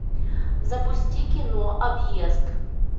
запусти кино объезд